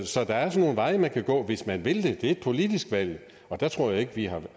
så der er nogle veje man kan gå hvis man vil det det er et politisk valg og der tror jeg ikke at vi har